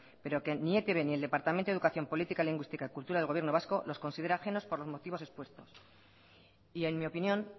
pero que ni etb ni el departamento de educación política lingüística y cultura del gobierno vasco los considera ajenos por los motivos expuestos y en mi opinión